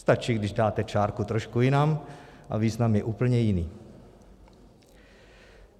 Stačí, když dáte čárku trošku jinam a význam je úplně jiný.